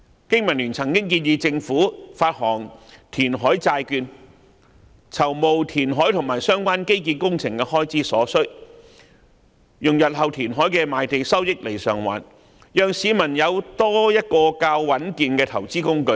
經民聯曾經建議政府發行填海債券，籌募填海和相關基建工程的所需開支，並以日後填海的賣地收益償還，讓市民有多一種較穩健的投資工具。